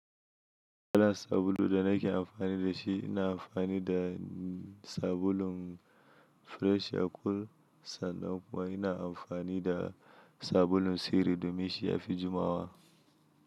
Ina da sabulu da na ke amfani da shi, ina amfani da sabulun Fresh and cool sannan kuma ina amfani da sabulun sirri domin shi a fi jumawa.